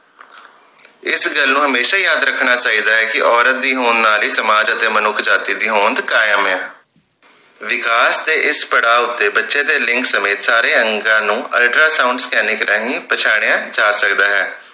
ਇਸ ਗੱਲ ਨੂੰ ਹਮੇਸ਼ਾ ਹੀ ਯਾਦ ਰੱਖਣਾ ਚਾਹੀਦਾ ਹੈ ਕਿ ਔਰਤ ਦੀ ਹੋਣ ਨਾਲ ਹੀ ਸਮਾਜ ਅਤੇ ਮਨੁੱਖ ਜਾਤਿ ਦੀ ਹੋਂਦ ਕਾਇਮ ਹੈ ਵਿਕਾਸ ਦੇ ਇਸ ਪੜਾਵ ਤੇ ਬੱਚੇ ਦੇ ਲਿੰਗ ਸਮੇਤ ਸਾਰੇ ਅੰਗਾਂ ਨੂੰ ਅਲਟਰਾ ਸਾਊਂਡ ਸਕੈਨਨਿੰਗ ਰਾਹੀਂ ਪਛਾਣਿਆਂ ਜਾ ਸਕਦਾ ਹੈ।